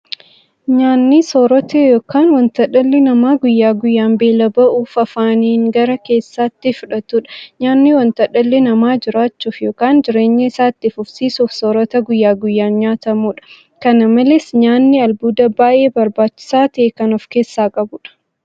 Nyaanni soorota yookiin wanta dhalli namaa guyyaa guyyaan beela ba'uuf afaaniin gara keessaatti fudhatudha. Nyaanni wanta dhalli namaa jiraachuuf yookiin jireenya isaa itti fufsiisuuf soorata guyyaa guyyaan nyaatamudha. Kana malees nyaanni albuuda baay'ee barbaachisaa ta'e kan ofkeessaa qabudha.